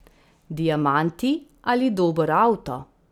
Diamanti ali dober avto?